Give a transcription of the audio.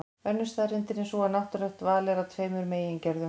Önnur staðreyndin er sú að náttúrulegt val er af tveimur megin gerðum.